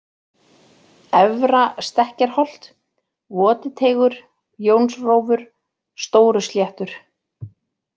Efra-Stekkjarholt, Votiteigur, Jónsrófur, Stórusléttur